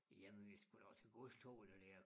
Jamen vi skulle da også have godstogene dér